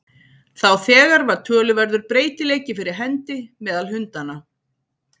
Þá þegar var töluverður breytileiki fyrir hendi meðal hundanna.